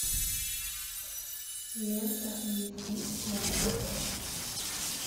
лента эйч ди окко